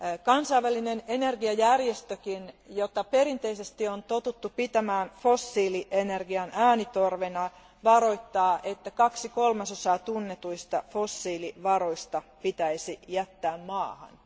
Kansainvälinen energiajärjestökin, jota perinteisesti on totuttu pitämään fossiilienergian äänitorvena, varoittaa, että kaksi kolmasosaa tunnetuista fossiilivaroista pitäisi jättää maahan.